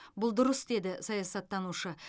бұл дұрыс деді саясаттанушы